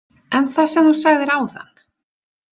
En það sem þú sagðir áðan?